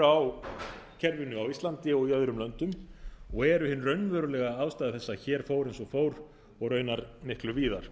á kerfinu á íslandi og í öðrum löndum og eru hin raunverulega ástæða þess að hér fór eins og fór og raunar miklu víðar